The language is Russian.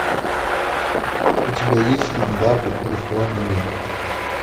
у тебя есть фильм барби виртуальный мир